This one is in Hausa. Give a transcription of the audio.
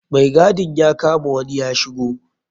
Mai gadin ya kama wani ya shigo.